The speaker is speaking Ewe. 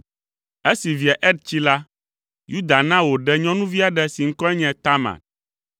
Esi via Er tsi la, Yuda na wòɖe nyɔnuvi aɖe si ŋkɔe nye Tamar.